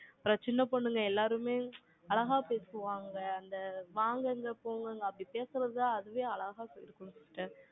அப்புறம் சின்ன பொண்ணுங்க எல்லாருமே, அழகா பேசுவாங்க. அந்த, வாங்குங்க, போங்கங்க, அப்படி பேசுறது, அதுவே அழகா போயிருக்கனும் sister